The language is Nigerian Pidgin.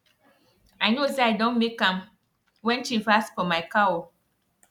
i know say i don make am when chief ask for my cow